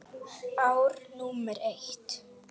Ár númer eitt.